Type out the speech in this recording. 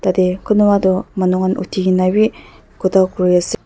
tatey konwa toh manu khan uthi kena pi khota kuri ase.